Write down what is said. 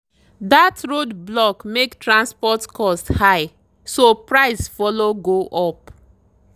that roadblock make transport cost high so price follow go up.